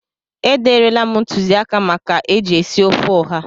E derela m ntụzịaka maka eji esi ofe ụha.